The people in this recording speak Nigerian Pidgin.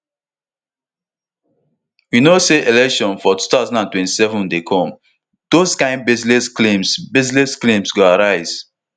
we no say elections for two thousand and twenty-seven dey come those kain baseless claims baseless claims go arise